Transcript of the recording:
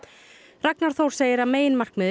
Ragnar Þór segir að